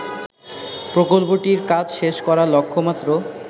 প্রকল্পটির কাজ শেষ করার লক্ষমাত্র